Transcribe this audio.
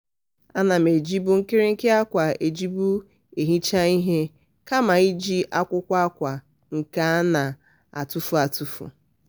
ana m ewerekwa nkịrịnka akwa ejibu ehicha ihe kama iji akwụkwọ akwa nke a na-atụfụ atụfụ.